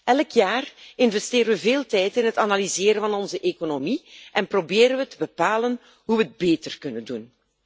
Elk jaar investeren we veel tijd in het analyseren van onze economie en proberen we te bepalen hoe we het beter kunnen doen.